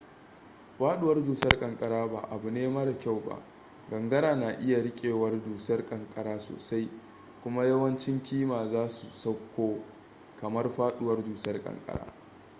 faduwar dusar kankara ba abu ne mara kyau ba gangara na iya rikewar dusar kankara sosai kuma yawancin kima za su sauko kamar faduwar dusar kankara